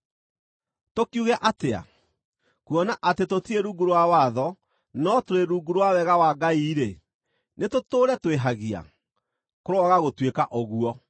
Tũkiuge atĩa? Kuona atĩ tũtirĩ rungu rwa watho no tũrĩ rungu rwa wega wa Ngai-rĩ, nĩtũtũũre twĩhagia? Kũroaga gũtuĩka ũguo!